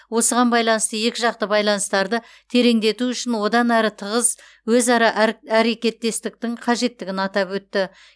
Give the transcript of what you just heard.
осыған байланысты екі жақты байланыстарды тереңдету үшін одан әрі тығыз өзара әрекеттестіктің қажеттігін атап өтті